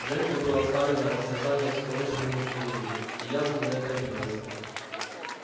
женька был оставлен на растерзание всклокоченному кириллу и явно на это обиделся